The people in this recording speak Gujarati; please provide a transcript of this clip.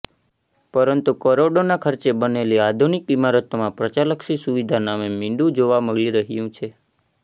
પરંતુ કરોડોના ખર્ચે બનેલી આધુનિક ઈમારતોમાં પ્રજાલક્ષી સુવિધા નામે મિંડુ જોવા મળી રહયું છે